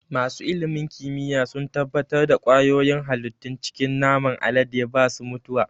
Masu ilimin kimiyya sun tabbatar da ƙwayoyin halittun cikin naman alade ba su mutuwa.